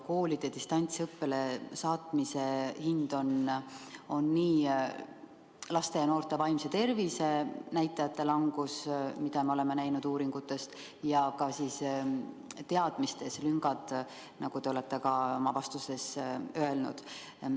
Koolide distantsõppele saatmise hind on laste ja noorte vaimse tervise näitajate langus, mida me oleme näinud uuringutest, ja ka teadmiste lüngad, nagu te oma vastuseski ütlesite.